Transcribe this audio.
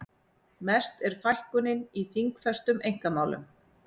Mest er fækkunin í þingfestum einkamálum